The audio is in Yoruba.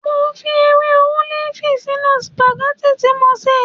Mo fi ewé ólìfù sínú sìpàgẹ́tì tí mo sè